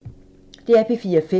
DR P4 Fælles